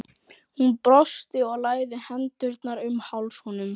Hún brosti og lagði hendurnar um háls honum.